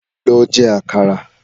Lọ jẹ àkàrà